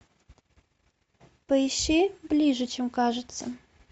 поищи ближе чем кажется